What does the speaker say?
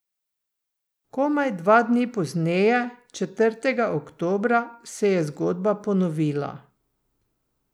Komaj dva dni pozneje, četrtega oktobra, se je zgodba ponovila.